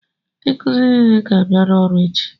Ndị nkụzi nile ga-abịa ọrụ echi!